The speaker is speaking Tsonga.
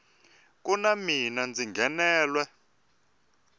ku na mina ndzi nghenelwe